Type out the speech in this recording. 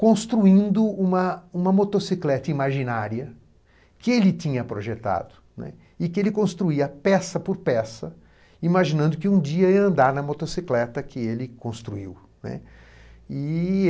construindo uma uma motocicleta imaginária que ele tinha projetado e que ele construía peça por peça, imaginando que um dia ia andar na motocicleta que ele construiu, né. E.